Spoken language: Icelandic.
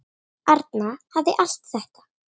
Arna hafði allt þetta.